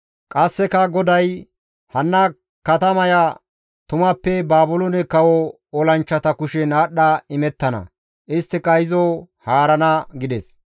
Qasseka GODAY, «Hanna katamaya tumappe Baabiloone kawo olanchchata kushen aadhdha imettana; isttika izo haarana» gides.